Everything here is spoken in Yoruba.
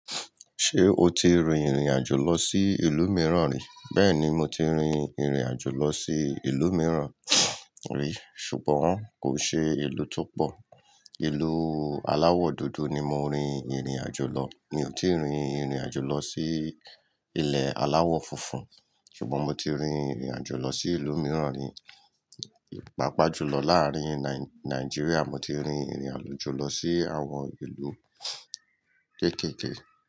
Ṣé o ti rin ìrìnàjò lọ sí ìlú mìíràn rí? Bẹ́ẹ̀ni, mo ti rin ìrìnàjò lọ sí ìlú mìíràn rí. Ṣùgbọ́n kò ṣe ìlú tó pọ̀. Ìlú aláwọ̀ dúdú ni mo rin ìrìnàjò lọ. Mi ò tíì rin ìrìnàjò lọ sí ilẹ̀ aláwọ̀ funfun. Ṣùgbọ́n mo ti rin ìrìnàjò lọ sí ìlú mìíràn rí. Paapa ju lọ láàárin Nai-Naijiria, mo ti rin ìrìnàjò lọ sí àwọn ìlú kéékèèké.